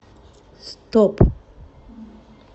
стоп